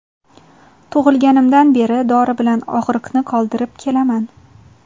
Tug‘ilganimdan beri dori bilan og‘riqni qoldirib kelaman.